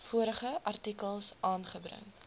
vorige artikels aangebring